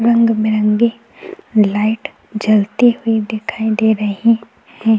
रंग-बिरंगी लाइट जलती हुई दिखाई दे रही हैं।